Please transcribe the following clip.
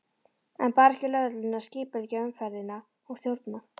En bar ekki lögreglunni að skipuleggja umferðina og stjórna?